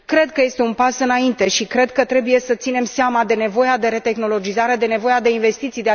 Cred că este un pas înainte și cred că trebuie să ținem seama de nevoia de retehnologizare, de nevoia de investiții.